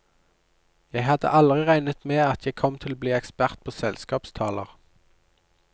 Jeg hadde aldri regnet med at jeg kom til å bli ekspert på selskapstaler.